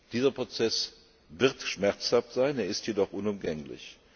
Dieser Prozess wird schmerzhaft sein, er ist jedoch unumgänglich.